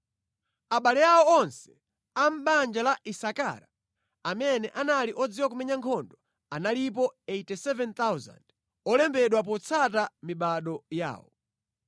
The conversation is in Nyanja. Abale awo onse a mʼbanja la Isakara amene anali odziwa kumenya nkhondo analipo 87,000, olembedwa potsata mibado yawo.